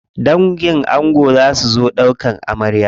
Dangin ango za su zo ɗaukan amarya.